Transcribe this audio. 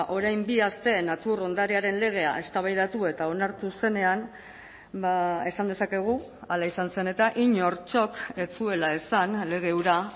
orain bi aste natur ondarearen legea eztabaidatu eta onartu zenean esan dezakegu hala izan zen eta inortxok ez zuela ez zen lege hura